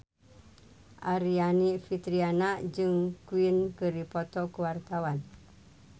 Aryani Fitriana jeung Queen keur dipoto ku wartawan